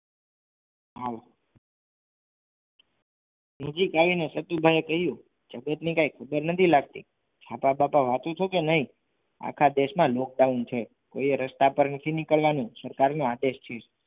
આવ નજીક આવીને સધી બાઇએ કહ્યું આમને કાંઈ ખબર નથી લાગતી છાપા બાંપા વાંચો છો કે નહીં આખા દેશમાં lockdown છે કોઈએ રસ્તા ઉપર નથી નીકળવાનું સરકારનો આદેશ છે.